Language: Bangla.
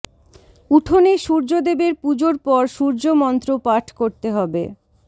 উঠোনে সূর্যদেবের পুজোর পর সূর্য মন্ত্র পাঠ করতে হবে